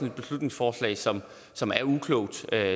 et beslutningsforslag som som er uklogt det